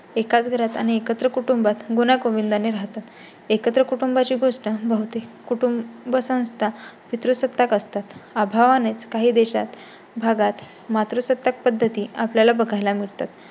एकाच घरात आणि एकत्र कुटुंबात गुण्या गोविंदा ने राहतात. एकत्र कुटुंबाची गोष्ट होती. कुटुंबसंस्था पितृसत्ताक असतात. अभावा नेच काही देशात भागात मात्रुसत्ताक पद्धती आपल्याला बघायला मिळतात